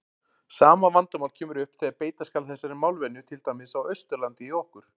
Sama vandamál kemur upp þegar beita skal þessari málvenju til dæmis á Austurlandi hjá okkur.